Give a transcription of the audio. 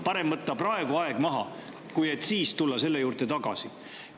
Parem on praegu aeg maha võtta, et selle juurde tagasi tulema.